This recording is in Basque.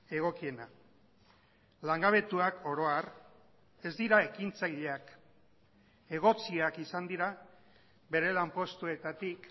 egokiena langabetuak oro har ez dira ekintzaileak egotziak izan dira bere lanpostuetatik